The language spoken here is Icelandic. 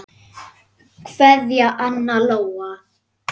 Kveðja, Anna Lóa.